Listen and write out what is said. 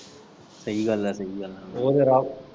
ਸਹੀ ਗੱਲ ਆ ਸਹੀ ਗੱਲ ਆ ਉਹ ਜੇੜਆ।